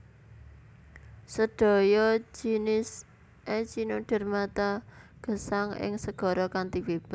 Sedaya jinis Echinodermata gesang ing segara kanthi bebas